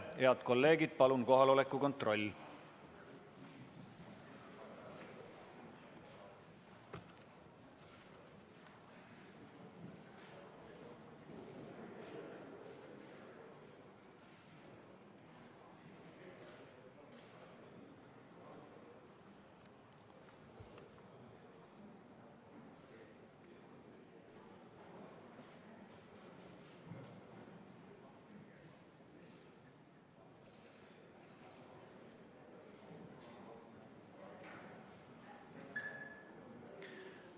Head kolleegid, palun kohaloleku kontroll!